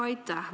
Aitäh!